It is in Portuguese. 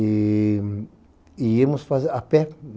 E íamos a pé.